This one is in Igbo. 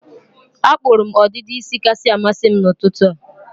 Akpụrụ m ọdịdị isi kasị amasị m n'ụtụtụ a.